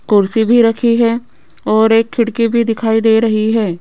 कुर्सी भी रखी है और एक खिड़की भी दिखाई दे रही है।